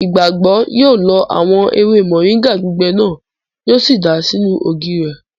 Ìgbàgbọ́ yóò lọ àwọn ewé mọ̀ríńgà gbígbẹ náà, yíò sì dàá sínú ògì rẹ̀